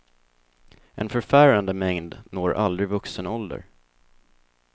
En förfärande mängd når aldrig vuxen ålder.